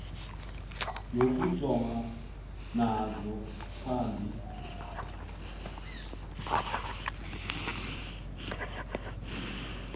nokujongana nazo phambi